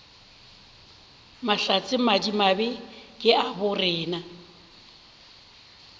mahlatse madimabe ke a borena